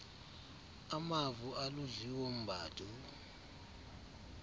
amavo aludliwo mbadu